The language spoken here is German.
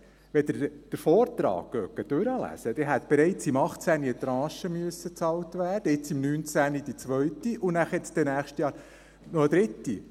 Wenn Sie den Vortrag durchlesen, dann hätte bereits im Jahr 2018 eine Tranche bezahlt werden müssen, jetzt, im Jahr 2019, die zweite und nächstes Jahr noch eine dritte.